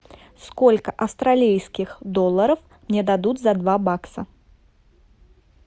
сколько австралийских долларов мне дадут за два бакса